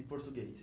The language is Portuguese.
E português?